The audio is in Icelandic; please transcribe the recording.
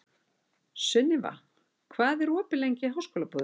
Sunniva, hvað er opið lengi í Háskólabúðinni?